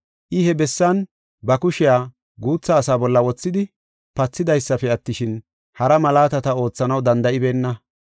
I he bessan ba kushiya guutha asaa bolla wothidi pathidaysafe attishin, hara malaatata oothanaw danda7ibeenna.